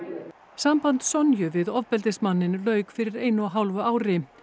sambandi Sonju við ofbeldismanninn lauk fyrir einu og hálfu ári